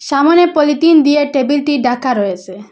সামোনে পলিতিন দিয়ে টেবিলটি ডাকা রয়েসে।